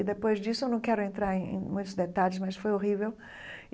E depois disso, eu não quero entrar em em muitos detalhes, mas foi horrível.